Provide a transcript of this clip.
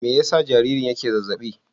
Me yasa jaririn yake zazzaɓi?